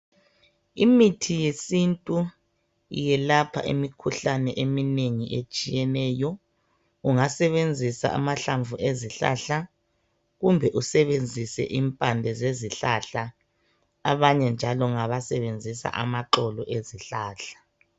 Imithi yesintu yelapha imikhuhlane eminengi etshiyeneyo, ungasebenzisa amahlamvu ezihlahla kumbe usebenzise impande zezi hlahla. Abanye njalo ngaba sebenzisa amaxolo ezihlahla.